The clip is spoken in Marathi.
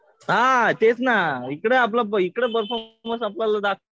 हा तेच ना इकडं परफॉर्मन्स आपल्याला इकडे